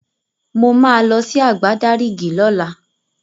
Mo máa lọ sí Àgbádárìgì lọ́la